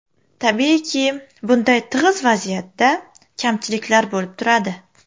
Tabiiyki, bunday tig‘iz vaziyatda kamchiliklar bo‘lib turadi.